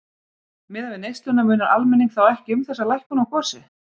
Miðað við neysluna munar almenning þá ekki um þessa lækkun á gosi?